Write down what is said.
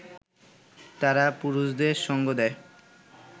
তারা পুরুষদের সঙ্গ দেয়